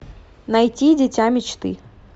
найти дитя мечты